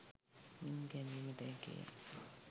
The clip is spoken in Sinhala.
මින් ගැනීමට හැකිය.